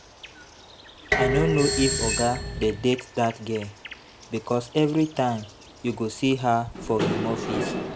I no know if oga dey date dat girl because everytime you go see her for im office